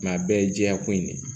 a bɛɛ ye jɛya ko in de ye